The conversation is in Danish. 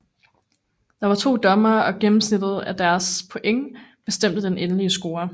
Der var to dommere og gennemsnittet af deres point bestemte den endelige score